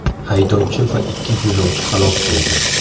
Haydovchi va ikki yo‘lovchi halok bo‘ldi.